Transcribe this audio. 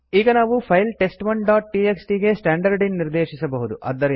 ಈಗ ನಾವು ಫೈಲ್ test1ಡಾಟ್ ಟಿಎಕ್ಸ್ಟಿ ಗೆ ಸ್ಟ್ಯಾಂಡರ್ಡ್ ಇನ್ ನಿರ್ದೇಶಿಸಬಹುದು